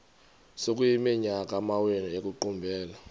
sekuyiminyaka amawenu ekuqumbele